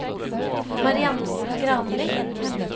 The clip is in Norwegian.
Mariann Granli